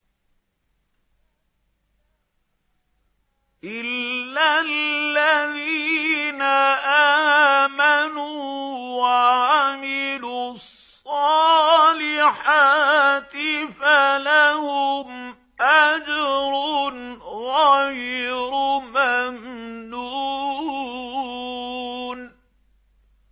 إِلَّا الَّذِينَ آمَنُوا وَعَمِلُوا الصَّالِحَاتِ فَلَهُمْ أَجْرٌ غَيْرُ مَمْنُونٍ